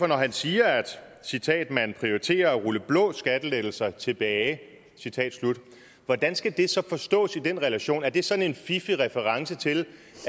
når han siger at citat man prioriterer at rulle blå skattelettelser tilbage citat slut hvordan skal det så forstås i den relation er det sådan en fiffig reference til